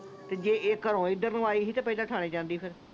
ਤੇ ਜੇ ਇੱਕ ਇਧਰ ਨੂੰ ਆਈ ਸੀ ਤੇ ਥਾਣੇ ਜਾਂਦੀ ਫਿਰ